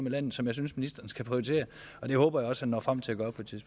i landet som jeg synes ministeren skal prioritere og det håber jeg også han når frem til